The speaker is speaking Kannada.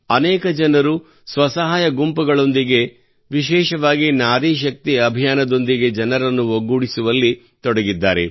ಅನೇಕ ಜನರು ಸ್ವಸಹಾಯ ಗುಂಪುಗಳೊಂದಿಗೆ ವಿಶೇಷವಾಗಿ ನಾರಿ ಶಕ್ತಿ ಅಭಿಯಾನದೊಂದಿಗೆ ಜನರನ್ನು ಒಗ್ಗೂಡಿಸುವಲ್ಲಿ ತೊಡಗಿದ್ದಾರೆ